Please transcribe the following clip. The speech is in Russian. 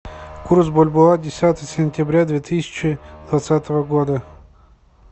курс бальбоа десятое сентября две тысячи двадцатого года